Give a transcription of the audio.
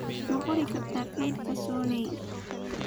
ma qori kartaa kaydka sony